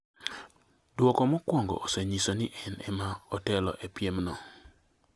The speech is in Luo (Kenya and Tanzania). Duoko mokuongo osenyiso ni en ema otelo e piemno